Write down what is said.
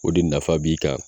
O de nafa b'i kan